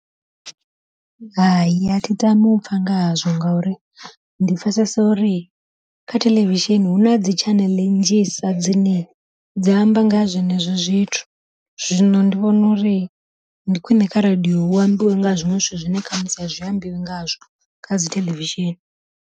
Hai a thi tami upfha nga hazwo, ngauri ndi pfhesesa uri kha theḽevishini huna dzi tshaneḽe nnzhisa dzine dzi amba nga ha zwenezwo zwithu, zwino ndi vhona uri ndi khwiṋe kha radiyo hu ambiwe nga zwiṅwe zwithu zwine khamusi a zwi ambiwi ngazwo kha dzi theḽevishini.